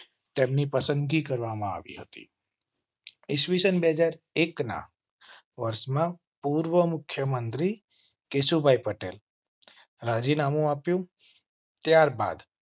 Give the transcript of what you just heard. તેમની પસંદગી કરવામાં આવી હતી. ઇસ્વીસન બે હાજર એક ના વર્ષમાં પૂર્વ મુખ્ય મંત્રી કેશુભાઈ પટેલ રાજીનામું આપ્યું ત્યાર બાદ